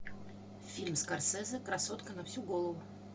фильм скорсезе красотка на всю голову